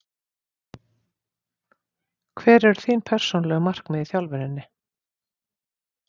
Hver eru þín persónulegu markmið í þjálfuninni?